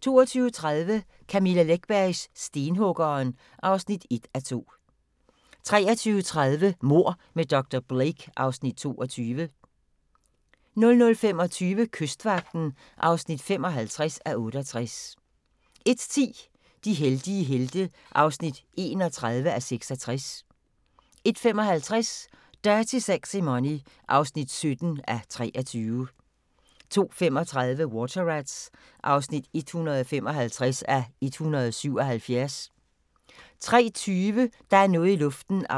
22:30: Camilla Läckbergs Stenhuggeren (1:2) 23:30: Mord med dr. Blake (Afs. 22) 00:25: Kystvagten (55:68) 01:10: De heldige helte (31:66) 01:55: Dirty Sexy Money (17:23) 02:35: Water Rats (155:177) 03:20: Der er noget i luften (176:320)